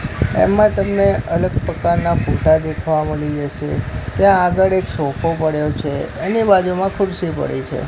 એમા તમને અલગ પ્રકારના ફોટા દેખવા મલી જસે ત્યાં આગળ એક સોફો પડ્યો છે એની બાજુમાં ખુરસી પડી છે.